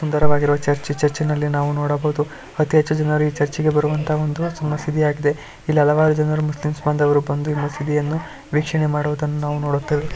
ಸುಂದರವಾಗಿರುವ ಚರ್ಚ್ ಚರ್ಚ್ನಲ್ಲಿ ನಾವು ನೋಡಬಹುದು ಅತೀ ಹೆಚ್ಚು ಜನರು ಈ ಚುರ್ಚ್ಗೆ ಬರುವಂತಹ ಒಂದು ಮಸೀದಿಯಾಗಿದೆ ಇಲ್ಲಿ ಹಲವಾರು ಜನರು ಮುಸ್ಲಿಂ ಭಾಂಧವರು ಬಂದು ಮಸೀದಿಯನ್ನು ವೀಕ್ಷಣೆಮಾಡುವುದನ್ನು ನಾವು ನೋಡುತ್ತೇವೆ.